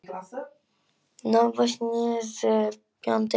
Lofum því, upp á æru og trú!